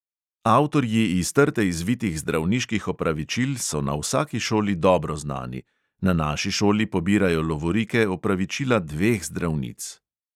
Avtorji iz trte izvitih zdravniških opravičil so na vsaki šoli dobro znani; na naši šoli pobirajo lovorike opravičila dveh zdravnic.